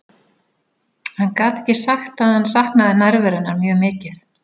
Hann gat ekki sagt að hann saknaði nærveru hennar mjög mikið.